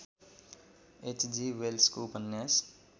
HG वेल्सको उपन्यास